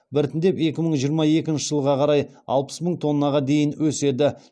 біртіндеп екі мың жиырма екінші жылға қарай алпыс мың тоннаға дейін өседі